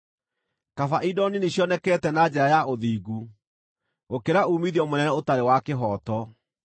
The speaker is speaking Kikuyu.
Kaba indo nini cionekete na njĩra ya ũthingu, gũkĩra uumithio mũnene ũtarĩ wa kĩhooto.